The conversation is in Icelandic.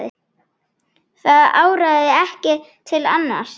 Það áraði ekki til annars.